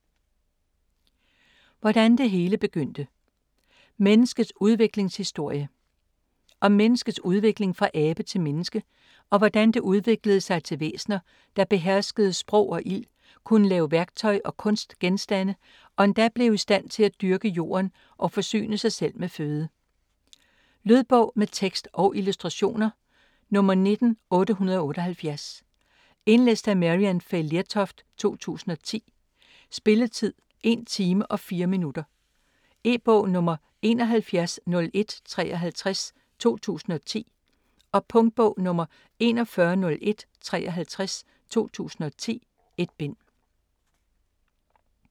Hvordan det hele begyndte: menneskets udviklingshistorie Om menneskets udvikling fra abe til menneske og hvordan det udviklede sig til væsner, der beherskede sprog og ild, kunne lave værktøj og kunstgenstande og endda blev i stand til at dyrke jorden og forsyne sig selv med føde. Lydbog med tekst og illustrationer 19878 Indlæst af Maryann Fay Lertoft, 2010. Spilletid: 1 time, 4 minutter. E-bog 710153 2010. Punktbog 410153 2010. 1 bind.